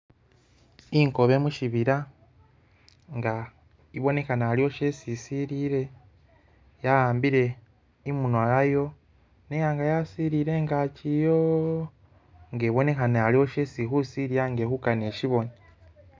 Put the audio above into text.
Inkobe mushibila inga ibonekhana aliwo shesi isilile yahambile imunwa yayo nenganga yasilile ingagi yo inga ibonekhana aliwo shesi ili khusilila nga ili khukana ishibone.